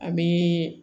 An bɛ